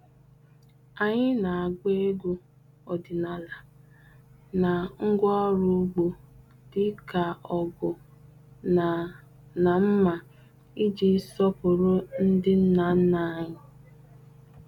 Anyị na-agba egwu ọdịnala na ngwaọrụ ugbo dị ka ọgu na na mma iji sọpụrụ ndị nna nna anyị.